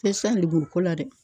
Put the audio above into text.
Fɛn ko la dɛ